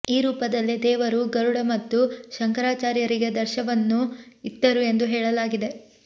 ಈ ರೂಪದಲ್ಲೇ ದೇವರು ಗರುಡ ಮತ್ತು ಶಂಕರಾಚಾರ್ಯರಿಗೆ ದರ್ಶವನ್ನು ಇತ್ತರು ಎಂದು ಹೇಳಲಾಗಿದೆ